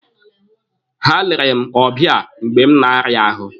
Ha lere m ọbịa mgbe m na-arịa ahụ.